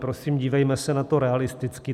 Prosím, dívejme se na to realisticky.